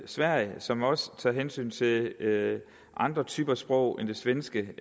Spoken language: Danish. sverige som også tager hensyn til andre typer sprog end det svenske